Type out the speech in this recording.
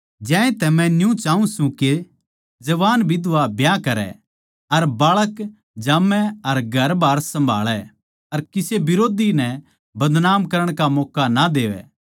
ज्यांतै मै न्यू चाऊँ सूं के जवान बिधवां ब्याह करै अर बाळक जामै अर घरबार सम्भाळै अर किसे बिरोधी नै बदनाम करण का मौक्का ना देवैं